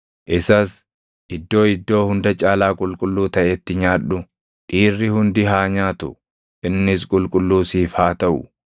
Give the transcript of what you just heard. Isas iddoo iddoo hunda caalaa qulqulluu taʼetti nyaadhu; dhiirri hundi haa nyaatu; innis qulqulluu siif haa taʼu.